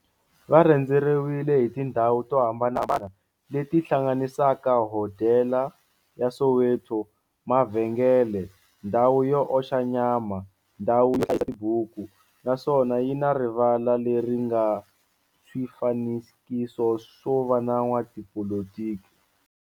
Va rhendzeriwile hi tindhawu to hambanahambana le ti hlanganisaka, hodela ya Soweto, mavhengele, ndhawu yo oxa nyama, ndhawu ya tibuku, naswona yi na rivala le ri nga na swifanekiso swa vo n'watipolitiki.